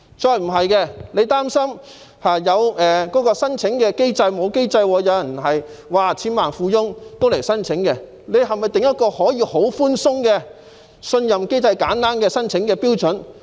如果擔心沒有妥善機制，千萬富翁也可以前來申請，是否可以訂定一個寬鬆的信任機制和簡單的申請標準？